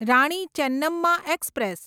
Rani Chennamma express